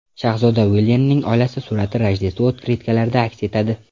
Shahzoda Uilyamning oilasi surati Rojdestvo otkritkalarida aks etadi.